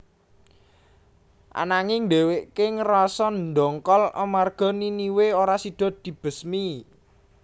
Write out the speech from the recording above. Ananging dhèwèké ngrasa ndongkol amarga Niniwe ora sida dibesmi